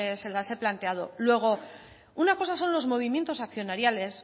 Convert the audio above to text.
se las he planteado luego una cosa son los movimientos accionariales